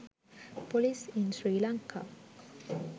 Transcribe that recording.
police in sri lanka